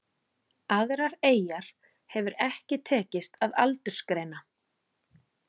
Aðrar eyjar hefur ekki tekist að aldursgreina.